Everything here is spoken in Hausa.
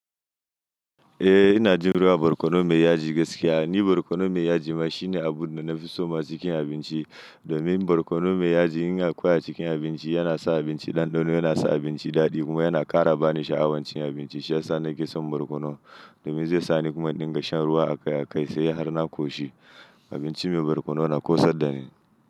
Eh ina jin ruwan borkono mai yaji gaskiya. Ni borkono mai yaji ma shine abun da na fi so masu cikin abinci. Domin borkono mai yaji in na koya cikin abinci yana sa abinci ɗanɗano, yana sa abinci daɗi kuma yana ƙara bani sha'awancin abinci. Shi ya sa nake son borkono domin zai sa ni kuma in dinga shan ruwa akai-akai sai har na ƙoshi abinci mai borkono na ƙosad da ni.